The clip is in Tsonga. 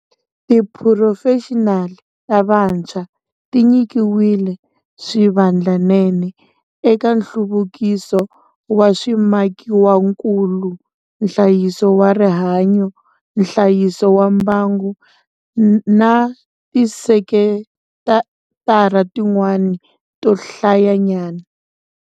Tiphurofexinali ta vantshwa ti nyikiwile swivandlanene eka nhluvukiso wa swimakiwakulu, nhlayiso wa rihanyu, nhlayiso wa mbangu na tisekitara tin'wana to hlayanyana.